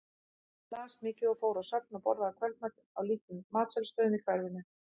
Hún las mikið og fór á söfn og borðaði kvöldmat á litlum matsölustöðum í hverfinu.